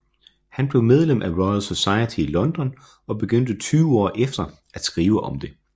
Han blev medlem af Royal Society i London og begyndte tyve år efter at skrive til det